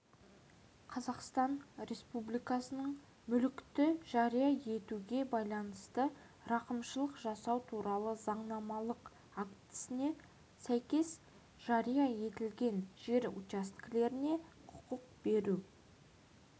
қазақстан республикасының мүлікті жария етуге байланысты рақымшылық жасау туралы заңнамалық актісіне сәйкес жария етілген жер учаскелеріне құқық беру